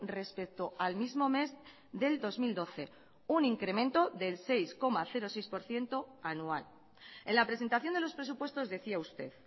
respecto al mismo mes del dos mil doce un incremento del seis coma seis por ciento anual en la presentación de los presupuestos decía usted